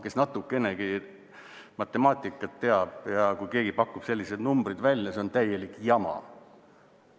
Kes natukenegi matemaatikat teab, siis kui keegi pakub selliseid numbreid välja, on see täielik jama.